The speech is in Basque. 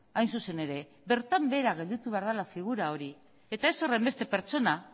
hain zuzen ere bertan behera gelditu behar dela figura hori eta ez horrenbeste pertsona